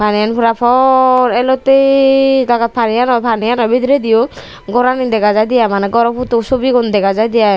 iyon pora por elottey jagat pani aano pani aano bideridiyo gor ani dega jaidey i maneh goro poto subigun dega jaidey i.